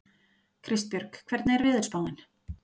Kristbjörg, hvernig er veðurspáin?